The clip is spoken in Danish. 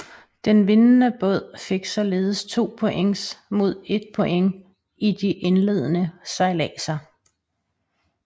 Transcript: Den vindende båd fik således 2 points mod 1 point i de indledende sejladser